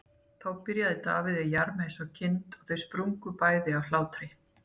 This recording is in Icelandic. Þá byrjar Davíð að jarma eins og kind og þau springa bæði af hlátri.